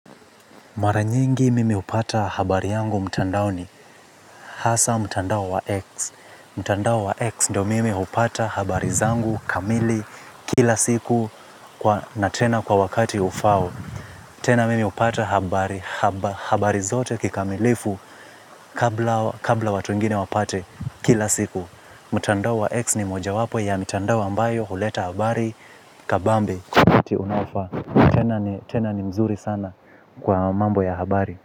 Mara nyingi mimi hupata habari yangu mtandaoni hasa mtandao wa X. Mtandao wa X ndo mimi hupata habari zangu kamili kila siku na tena kwa wakati ufao. Tena mimi hupata habari, habari zote kikamilifu kabla watu wengine wapate kila siku. Mtandao wa X ni moja wapo ya mtandao ambayo huleta habari kabambe. Kwa wakati unaofaa, tena ni mzuri sana kwa mambo ya habari. Kwa hivyo.